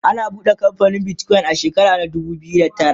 an buɗe kamfanin Bitcoin a shekara dubu biyu da tara